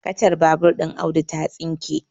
kacar babur ɗin Audu ta tsinke